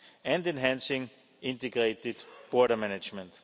and enhancing integrated border management.